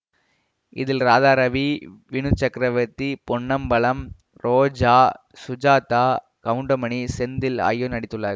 இதில் ராதாரவி வினு சக்ரவர்த்தி பொன்னம்பலம் ரோஜா சுஜாதா கவுண்டமணி செந்தில் ஆகியோர் நடித்துள்ளார்கள்